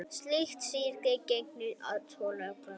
Slíkt stríði gegn tollalögum